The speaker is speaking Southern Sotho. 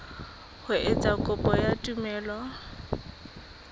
ho etsa kopo ya tumello